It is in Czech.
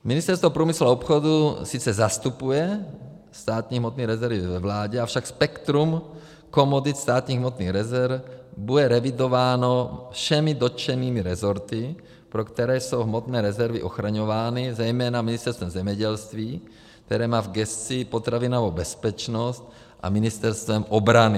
Ministerstvo průmyslu a obchodu sice zastupuje státní hmotné rezervy ve vládě, avšak spektrum komodit státních hmotných rezerv bude revidováno všemi dotčenými resorty, pro které jsou hmotné rezervy ochraňovány, zejména Ministerstvem zemědělství, které má v gesci potravinovou bezpečnost, a Ministerstvem obrany.